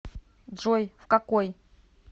джой в какой